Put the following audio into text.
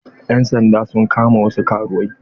Ƴan sanda sun kama wasu karuwai.